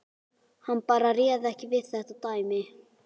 Hann bara réð ekki við þetta dæmi.